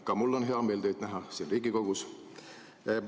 Ka mul on hea meel teid siin Riigikogus näha.